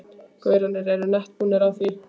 gaurarnir eru nett búnir á því.